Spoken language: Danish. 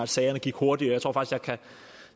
sagerne gik hurtigere